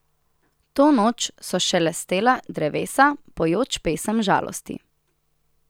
To noč so šelestela drevesa, pojoč pesem žalosti.